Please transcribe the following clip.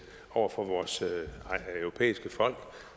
over for vores europæiske folk